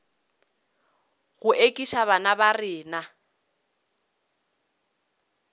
go ekiša bana ba rena